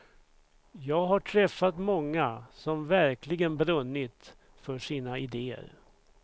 Jag har träffat många som verkligen brunnit för sina idéer.